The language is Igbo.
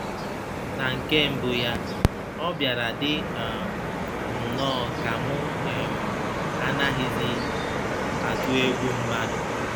Na nke mbụ ya, ọ bịara dị um m nnọọ ka mụ um anaghịzi atụ egwu mmadụ!